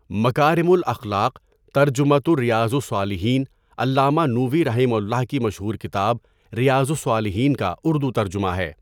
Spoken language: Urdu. مكارم الاخلاق ترجمة رياض الصالحين علامہ نووی رحمہ اللہ کی مشہور کتاب ریاض الصالحین کا اردو ترجمہ ہے.